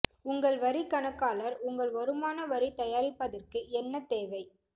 உங்கள் வரிக் கணக்காளர் உங்கள் வருமான வரி தயாரிப்பதற்கு என்ன தேவை